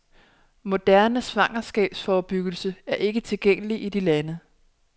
Moderne svangerskabsforbyggelse er ikke tilgængeligt i de lande.